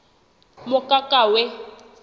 mokakawe